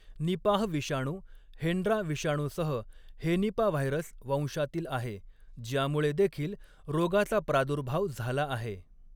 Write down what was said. Nipah विषाणू Hendra विषाणूसह henipavirus वंशातील आहे, ज्यामुळे देखील रोगाचा प्रादुर्भाव झाला आहे.